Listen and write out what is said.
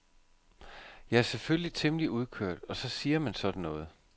Jeg er selvfølgelig temmelig udkørt og så siger man sådan noget.